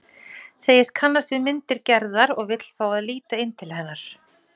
Segist kannast við myndir Gerðar og vill fá að líta inn til hennar.